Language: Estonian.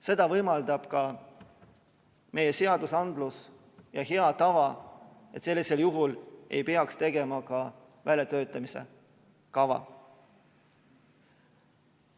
Seda võimaldab ka meie seadusandlus ja hea tava ning sellisel juhul ei peaks tegema ka väljatöötamiskava.